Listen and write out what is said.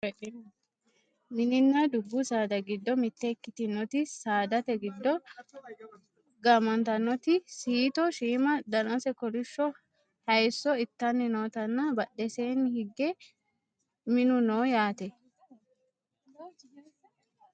mininna dubbu saada giddo mitte ikkitinoti saadate giddo gaamantannotui siito shiima danase kolishsho hayeesso ittanni nootanna badheseenni hige minu no yaate